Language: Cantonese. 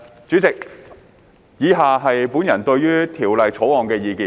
主席，以下是本人對《條例草案》的意見。